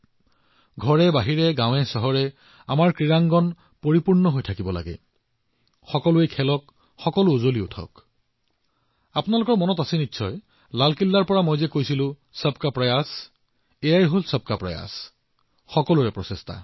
ঘৰতেই হওক বাহিৰতেই হওক গাওঁ চহৰ সকলোতে আমাৰ খেলপথাৰ পূৰ্ণ হব লাগে সকলোৱে খেল খেলিব লাগে আৰু মই লালকিল্লাক কি কৈছিলো আপোনালোকৰ মনত আছে নহয় সবকা প্ৰয়াস হয় সকলোৰে প্ৰচেষ্টা